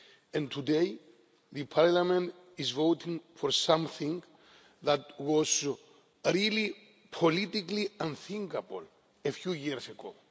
And today, Parliament is voting for something that was really politically unthinkable a few years ago.